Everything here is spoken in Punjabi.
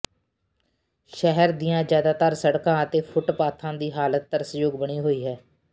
ਸ਼ਹਿਰ ਦੀਆਂ ਜ਼ਿਆਦਾਤਰ ਸੜਕਾਂ ਅਤੇ ਫੁੱਟਪਾਥਾਂ ਦੀ ਹਾਲਤ ਤਰਸਯੋਗ ਬਣੀ ਹੋਈ ਹੈ